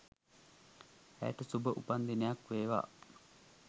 ඇයට සුභ උපන් දිනයක් වේවා